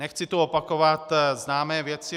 Nechci tu opakovat známé věci.